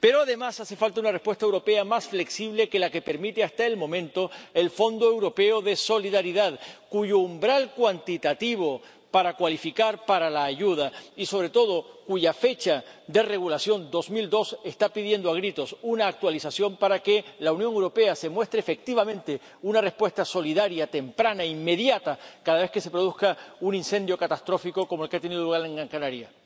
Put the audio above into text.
Pero además hace falta una respuesta europea más flexible que la que permite hasta el momento el Fondo Europeo de Solidaridad, cuyo umbral cuantitativo para acceder a la ayuda y, sobre todo, cuya fecha de regulación, 2002, están pidiendo a gritos una actualización para que la Unión Europea muestre efectivamente una respuesta solidaria, temprana e inmediata cada vez que se produzca un incendio catastrófico como el que ha tenido lugar en Gran Canaria.